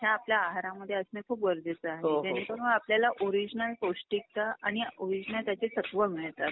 ह्या आपल्या आहार मध्ये असंन खूप गरजेचं आहेव जेणे करून आपल्याला ओरिजनल पौष्टिकता आणि ओरिजनल त्याचे तत्त्व मिळतात.